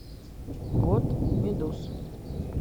год медуз